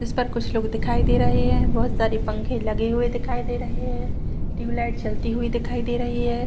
जिस पर कुछ लोग दिखाई दे रहे हैं बहुत सारे पंखे लगे हुए दिखाई दे रहे हैं लाइट चलती हुई दिखाई दे रही है।